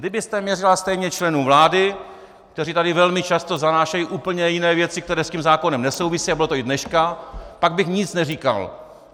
Kdybyste měřila stejně členům vlády, kteří tady velmi často zanášejí úplně jiné věci, které s tím zákonem nesouvisí, a bylo to i dneska, pak bych nic neříkal.